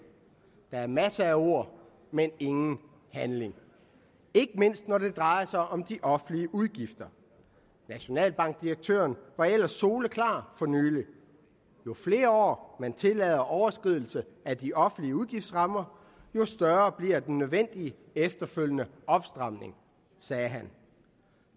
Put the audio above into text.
der er masser af ord men ingen handling ikke mindst når det drejer sig om de offentlige udgifter nationalbankdirektøren var ellers soleklar for nylig jo flere år man tillader overskridelse af de offentlige udgiftsrammer jo større bliver den nødvendige efterfølgende opstramning sagde han